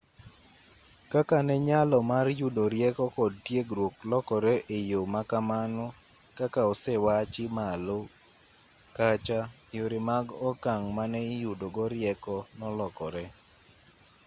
kaka ne nyalo mar yudo rieko kod tiegruok lokore e yo ma kamano kaka osewachi malo kacha yore mag okang' mane iyudogo rieko nolokore